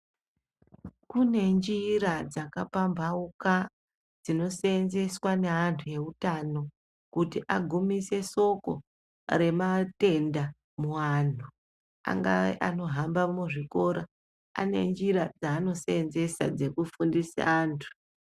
Kune njira dzakapambauka dzino seenzeswa neantu eutano kuti agumise soko rematenda muwantu angave anohamba muzvikora, anenjira dzaano seenzesa dzokufundise vantu.